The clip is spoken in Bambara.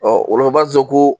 o la u b'a zo koo